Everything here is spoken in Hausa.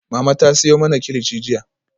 Mama ta siyo mana kilichi jiya